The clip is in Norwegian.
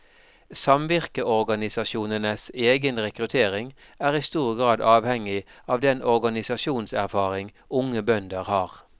Samvirkeorganisasjonenes egen rekruttering er i stor grad avhengig av den organisasjonserfaring unge bønder har.